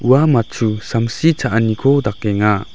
ua matchu samsi cha·aniko dakenga.